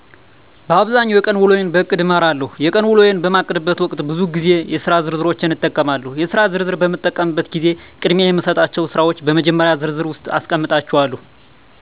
በአብዛኛው የቀን ውሎየን በእቅድ እመራለሁ። የቀን ውሎየን በማቅድበት ወቅት ብዙ ግዜ የስራ ዝርዝሮችን እጠቀማለሁ። የስራ ዝርዝር በምጠቀምበትም ግዜ ቅድሚያ የሚሰጣቸውን ስራወች በመጀመሪዎቹ ዝርዝር ውስጥ አስቀምጣለሁ።